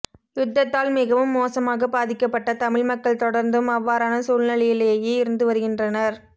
யுத்தத்தால் மிகவும் மோசமாகப் பாதிக்கப்பட்ட தமிழ் மக்கள் தொடர்ந்தும் அவ்வாறான சூழ்நிலையிலேயே இருந்துவருகின்றனர்